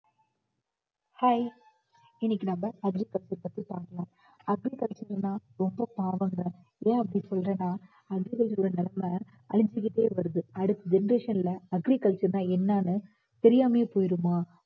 Hi இன்னைக்கு நம்ம agriculture பத்தி பார்க்கலாம் agriculture னா ரொம்ப பாவம்ங்க. ஏன் அப்படி சொல்றேன்னா agriculture ஓட நிலைமை அழிஞ்சுக்கிட்டே வருது அடுத்து generation ல agriculture னா என்னன்னு தெரியாமே போயிடுமா